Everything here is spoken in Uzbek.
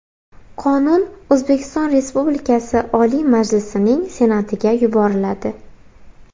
Qonun O‘zbekiston Respublikasi Oliy Majlisining Senatiga yuboriladi.